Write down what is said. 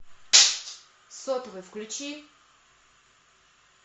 сотовый включи